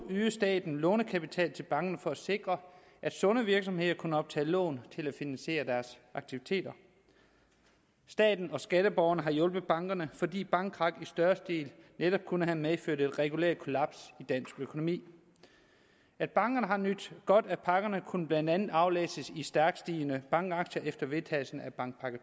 ydede staten lånekapital til bankerne for at sikre at sunde virksomheder kunne optage lån til at finansiere deres aktiviteter staten og skatteborgerne har hjulpet bankerne fordi bankkrak i større stil netop kunne have medført et regulært kollaps i dansk økonomi at bankerne har nydt godt af pakkerne kunne blandt andet aflæses i stærkt stigende bankaktier efter vedtagelsen af bankpakke